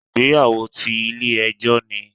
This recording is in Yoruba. Ìgbéyàwó ti Ilé ejó ni